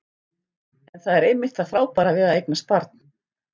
En það er einmitt það frábæra við að eignast barn.